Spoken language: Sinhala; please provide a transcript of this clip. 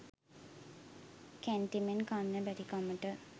කැන්ටිමෙන් කන්න බැරිකමට